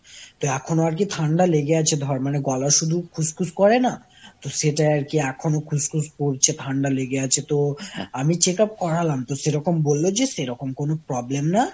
তাই এখনো আর কি ঠান্ডা লেগে আছে ধর। মানে গলা শুধু খুসখুস করে না? তো সেটাই আর কি এখনো খুসখুস করছে ঠান্ডা লেগে আছে তো, আমি check up করালাম তো সেরকম বলল যে সেরকম কোন problem না,